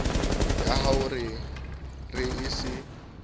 ya ho re o se